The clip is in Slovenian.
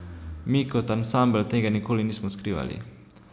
Mi kot ansambel tega nikoli nismo skrivali.